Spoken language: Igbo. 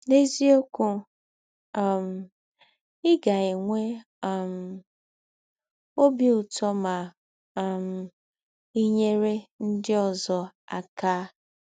N’eziọkwụ, um ị ga - enwe um ọbi ụtọ ma um i nyere ndị ọzọ aka!